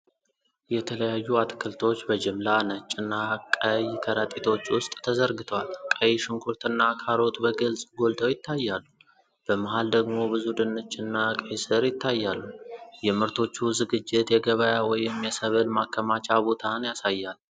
የተለያዩ አትክልቶች በጅምላ ነጭና ቀይ ከረጢቶች ውስጥ ተዘርግተዋል። ቀይ ሽንኩርትና ካሮት በግልጽ ጎልተው ይታያሉ። በመሃል ደግሞ ብዙ ድንችና ቀይ ስር ይታያሉ። የምርቶቹ ዝግጅት የገበያ ወይም የሰብል ማከማቻ ቦታን ያሳያል።